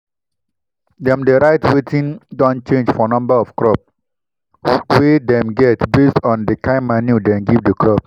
dem dey write wetin don change for number of crop we dem get based on di kin manure dem give di crop.